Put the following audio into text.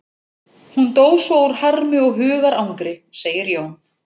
Hún dó svo úr harmi og hugarangri, segir Jón.